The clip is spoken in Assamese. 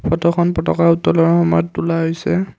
ফটোখন পতকা উত্তোলনৰ সময়ত তোলা হৈছে।